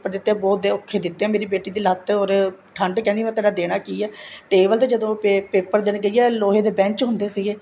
ਦਿੱਤੇ ਹੈ ਬਹੁਤ ਔਖੇ ਦਿੱਤੇ ਹੈ ਮੇਰੀ ਬੇਟੀ ਦੀ ਲੱਤ ਔਰ ਠੰਡ ਕਹਿੰਦੀ ਮੈਂ ਤੇਰਾਂ ਦੇਣਾ ਕੀ ਹੈ table ਤੇ ਜਦੋਂ ਉੱਤੇ paper ਦੇਣ ਗਈ ਹੈ ਲੋਹੇ ਦੇ ਬੇੰਚ ਹੁੰਦੇ ਸੀਗੇ